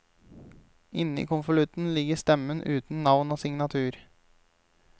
Inne i konvolutten ligger stemmen uten navn og signatur.